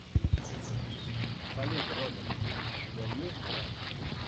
салют робот у тебя есть брат